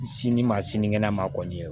Sini ma sinikɛnɛ ma kɔni